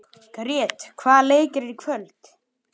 Grét, hvaða leikir eru í kvöld?